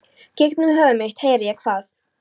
Gegnum höfuð mitt heyri ég hvað